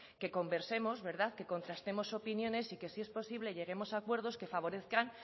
que conversemos verdad que contrastemos opiniones y que si es posible lleguemos a acuerdos que favorezcan